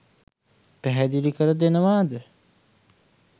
පැහැදිලි කර දෙනවාද?